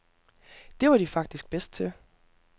Det var de faktisk bedst til.